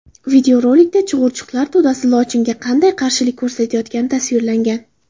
Videorolikda chug‘urchuqlar to‘dasi lochinga qanday qarshilik ko‘rsatayotgani tasvirlangan.